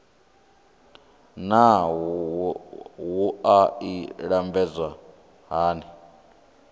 naa wua i lambedzwa hani